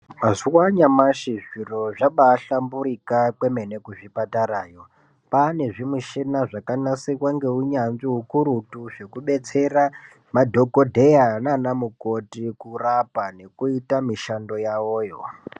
Mazuwa anyamashi zviro zvabaahlamburika kwemene kuzvipatarayo. Kwaane zvimishina zvakanasirwa ngeunyanzvi hukurutu zvekubetsera madhokodheya nanamukoti kurapa nekuita mishando yawo yo.